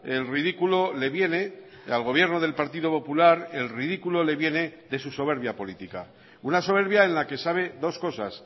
el ridículo le viene al gobierno del partido popular el ridículo le viene de su soberbia política una soberbia en la que sabe dos cosas